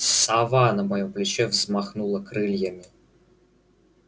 сова на моём плече взмахнула крыльями